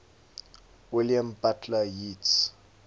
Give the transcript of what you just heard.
william butler yeats